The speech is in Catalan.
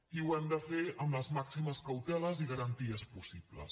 i ho hem de fer amb les màximes cauteles i garanties possibles